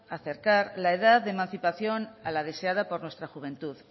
acercar la edad de emancipación a la deseada por nuestra juventud